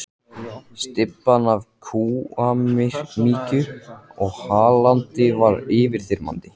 Stybban af kúamykju og hlandi var yfirþyrmandi.